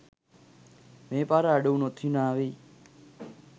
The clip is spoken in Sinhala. මේ පාර අඩුවුනොත් හිනාවෙයි